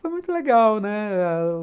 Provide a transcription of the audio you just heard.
Foi muito legal, né?